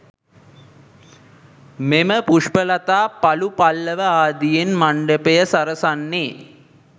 මෙම පුෂ්පලතා පලු පල්ලව ආදියෙන් මණ්ඩපය සරසන්නේ